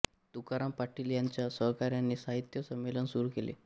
तुकाराम पाटील यांच्या सहकार्याने साहित्य संमेलन सुरू केले